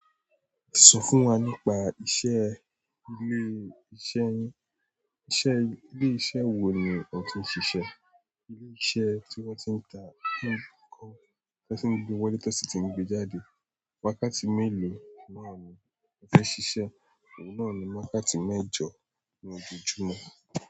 Sọ fún wa nípa iṣẹ́ ilé-iṣẹ́ yín. Iṣẹ́ ilé iṣẹ́ wo ni o ti ń ṣiṣẹ́? Ilé iṣẹ́ tí wọ́n ti ń ta nǹkan tí ẹni tí wọlé tí wọ́n sì ti ń gbé jáde. Wákàtí mélòó náà ni o fi n ṣiṣẹ́? Òun náà ni wákàtí mẹ́jọ ní ojojúmọ́.